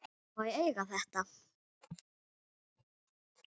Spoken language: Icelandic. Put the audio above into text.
Má ég eiga þetta?